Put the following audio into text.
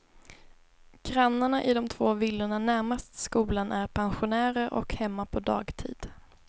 Grannarna i de två villorna närmast skolan är pensionärer och hemma på dagtid.